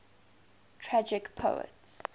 tragic poets